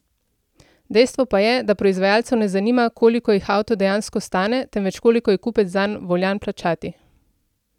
Dejstvo pa je, da proizvajalcev ne zanima, koliko jih avto dejansko stane, temveč koliko je kupec zanj voljan plačati.